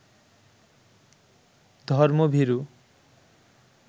ধর্মভীরু